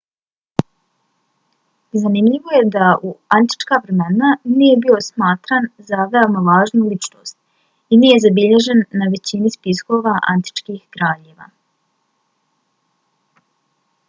zanimljivo je da u antička vremena nije bio smatran za veoma važnu ličnost i nije zabilježen na većini spiskova antičkih kraljeva